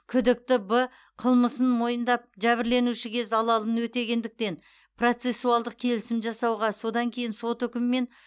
күдікті б қылмысын мойындап жәбірленушіге залалын өтегендіктен процессуалдық келісім жасауға содан кейін сот үкімімен